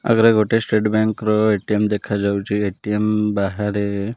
ଆଗରେ ଗୋଟେ state bank ର ଏ_ଟି_ଏମ୍ ଦେଖାଯାଉଚି ଏ_ଟି_ଏମ୍ ବାହାରେ --